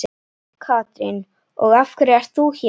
Katrín: Og af hverju ert þú hér?